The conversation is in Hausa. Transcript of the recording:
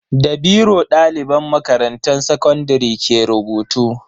Da biro daliban makarantan sakandare ke rubutu.